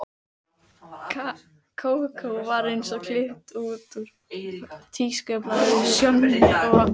Kókó var eins og klippt út úr tískublaði, Sjonni og